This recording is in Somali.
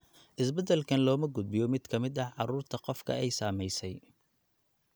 Isbeddelkan looma gudbiyo mid ka mid ah carruurta qofka ay saamaysay.